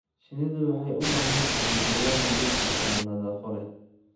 Shinnidu waxay u baahan tahay deegaan nadiif ah oo nafaqo leh.